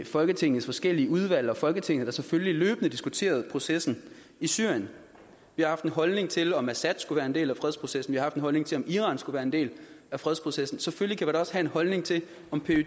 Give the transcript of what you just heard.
folketingets forskellige udvalg og i folketinget selvfølgelig løbende diskuteret processen i syrien vi har haft en holdning til om assad skulle være en del af fredsprocessen vi har haft en holdning til om iran skulle være en del af fredsprocessen og selvfølgelig kan vi også have en holdning til om pyd